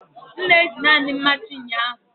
M na-eji naanị mmachi ụnyaahụ.